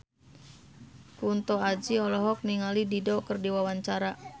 Kunto Aji olohok ningali Dido keur diwawancara